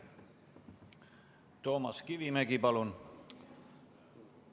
Toomas Kivimägi, palun!